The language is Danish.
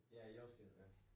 Ja jordskælv ja